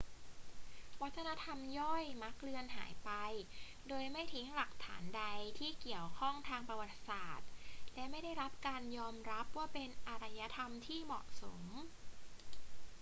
วัฒนธรรมย่อยมักเลือนหายไปโดยไม่ทิ้งหลักฐานใดที่เกี่ยวข้องทางประวัติศาสตร์และไม่ได้รับการยอมรับว่าเป็นอารยธรรมที่เหมาะสม